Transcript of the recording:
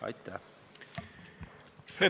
Aitäh!